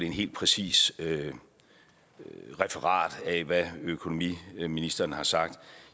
helt præcist referat af hvad økonomiministeren har sagt